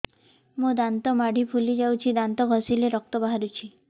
ମୋ ଦାନ୍ତ ମାଢି ଫୁଲି ଯାଉଛି ଦାନ୍ତ ଘଷିଲେ ରକ୍ତ ବାହାରୁଛି